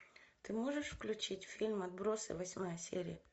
ты можешь включить фильм отбросы восьмая серия